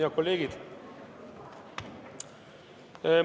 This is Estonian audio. Head kolleegid!